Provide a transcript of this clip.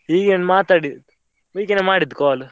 ಹೀಗೆ ಮಾತಾಡ್~ ಹೀಗೇನೆ ಮಾಡಿದ್ call .